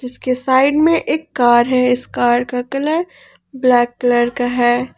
उसके साइड में एक कार है इस कार का कलर ब्लैक कलर का है।